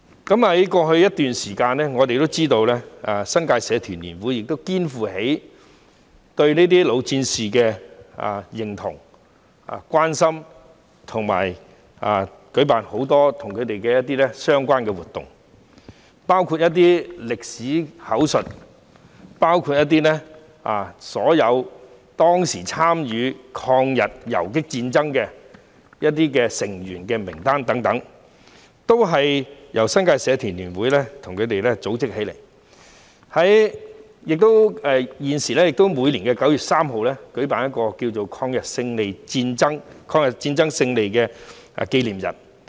在過去一段時間，我們知道新界社團聯會亦肩負起對老戰士的認同和關心，舉辦了很多相關的活動，包括一些歷史口述活動及編製當時參與抗日游擊戰爭的成員名單等，也是由新界社團聯會組織起來的，每年9月3日亦會與民政事務總署合辦抗日戰爭勝利紀念日。